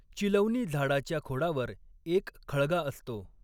चिलौनी झाडाच्या खोडावर एक खळगा असतो.